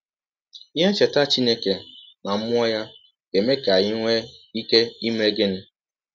Ihe ncheta Chineke na mmụọ ya ga - eme ka anyị nwee ike ime gịnị?